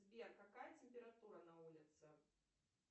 сбер какая температура на улице